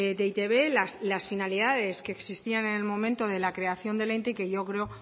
de eitb las finalidades que existían en el momento de la creación del ente y que yo creo